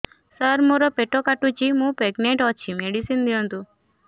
ସାର ମୋର ପେଟ କାଟୁଚି ମୁ ପ୍ରେଗନାଂଟ ଅଛି ମେଡିସିନ ଦିଅନ୍ତୁ